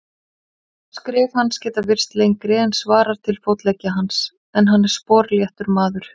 Skref hans geta virst lengri en svarar til fótleggja hans, en hann er sporléttur maður.